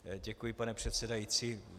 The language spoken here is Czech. Děkuji, pane předsedající.